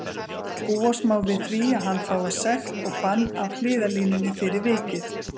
Búast má við því að hann fái sekt og bann af hliðarlínunni fyrir vikið.